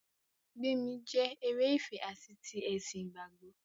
Gbémi jẹ́ eré ìfẹ ati ti ẹ̀sìn ìgbàgbọ́.